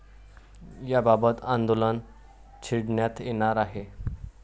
याबाबत आंदोलन छेडण्यात येणार आहे.